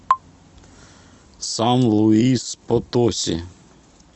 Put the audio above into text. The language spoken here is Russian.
сан луис потоси